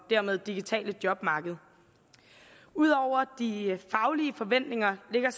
dermed digitale jobmarked ud over de faglige forventninger ligger